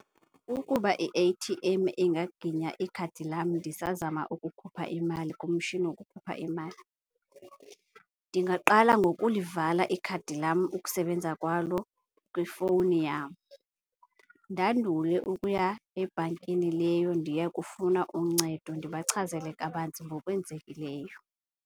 Ukuba i-A_T_M ingaginya ikhadi lam ndisazama ukukhupha imali kumshini wokukhupha imali, ndingaqala ngokulivala ikhadi lam ukusebenza kwalo kwifowuni yam. Ndandule ukuya ebhankini leyo ndiye kufuna uncedo, ndibachazele kabanzi ngokwenzekileyo.